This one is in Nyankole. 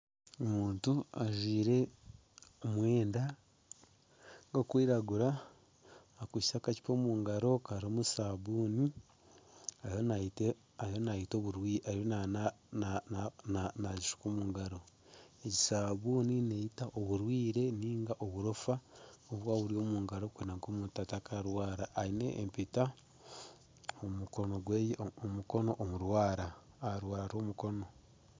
Omuntu ajwire omwenda gw'okwiragura akwaitse akacupa omu ngaro karimu saabuuni ariyo nagishuka omu ngaro. Egi saabuuni neyita oburofa oburikuba buri omu ngaro kwenda ngu omuntu atakarwara. Aine empeta omu mukono omurwara.